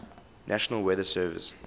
national weather service